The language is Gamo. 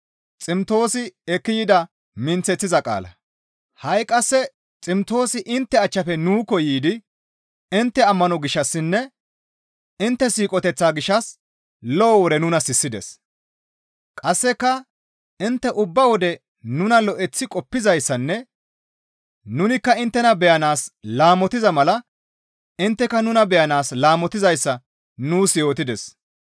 Ha7i qasse Ximtoosi intte achchafe nuukko yiidi intte ammano gishshassinne intte siiqoteththaa gishshas lo7o wore nuna sissides. Qasseka intte ubba wode nuna lo7eththi qoppizayssanne nunikka inttena beyanaas laamotiza mala intteka nuna beyanaas laamotizayssa nuus yootides.